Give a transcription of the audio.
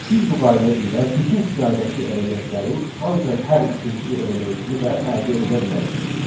Biz bu qayda ilə bütün siyahıdakı elementlərin ancaq hər ikinci elementini də əldə edə bilərik.